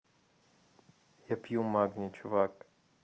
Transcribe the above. я пью магний чувак